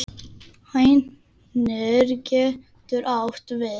Hænir getur átt við